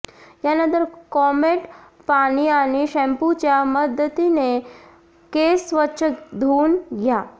यानंतर कोमट पाणी आणि शॅम्पूच्या मदतीनं केस स्वच्छ धुऊन घ्या